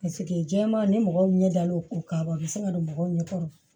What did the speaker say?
jɛman ni mɔgɔw ɲɛ da l'o ko kaban u bɛ se ka don mɔgɔw ɲɛ kɔrɔ